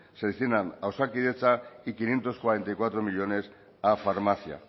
se destinan a osakidetza y quinientos cuarenta y cuatro millónes a farmacia